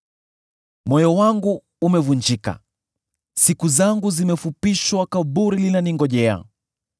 Moyo wangu umevunjika, siku zangu zimefupishwa, kaburi linaningojea.